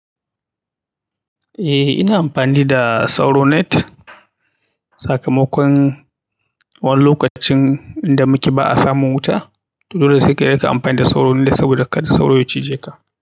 Eh ina amfani da sauro net. Sakamakon wani lokacin inda muke ba a samun wuta, dole sai ka riƙa amfani da sauro net saboda kada sauro ya cije ka.